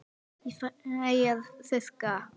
Ég fæ að þurrka.